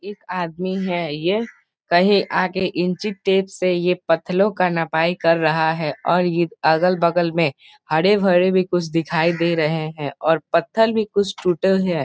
एक आदमी है ये कहीं आगे इंच टेप से ये पत्थर का नपाई कर रहा है और ये अगल-बगल में हरे-भरे भी कुछ दिखाई दे रहे है और पत्थर भी कुछ टूटल है।